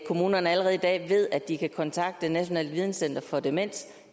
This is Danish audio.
kommunerne allerede i dag ved at de kan kontakte nationalt videnscenter for demens